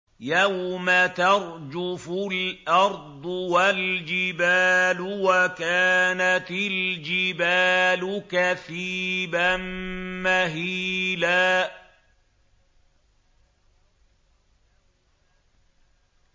يَوْمَ تَرْجُفُ الْأَرْضُ وَالْجِبَالُ وَكَانَتِ الْجِبَالُ كَثِيبًا مَّهِيلًا